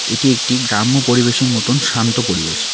এটি একটি গ্রাম্য পরিবেশের মতন শান্ত পরিবেশ।